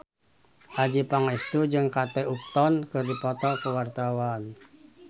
Adjie Pangestu jeung Kate Upton keur dipoto ku wartawan